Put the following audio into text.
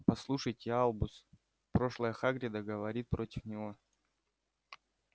послушайте альбус прошлое хагрида говорит против него